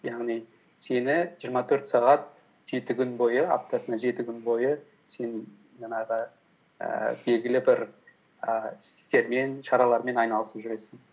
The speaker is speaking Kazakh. яғни сені жиырма төрт сағат аптасына жеті күн бойы сен жаңағы ііі белгілі бір ііі істермен шаралармен айналысып жүресің